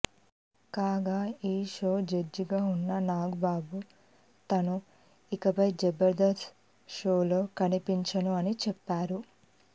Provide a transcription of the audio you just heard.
కాగా ఈ show judge గా ఉన్న నాగబాబు తాను ఇకపై జబర్ధస్త్ షోలో కనిపించను అని చెప్పారు